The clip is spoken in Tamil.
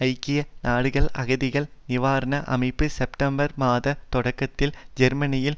ஐக்கிய நாடுகள் அகதிகள் நிவாரண அமைப்பு செப்டம்பர் மாத தொடக்கத்தில் ஜெர்மனியில்